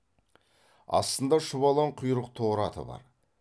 астында шұбалаң құйрық торы аты бар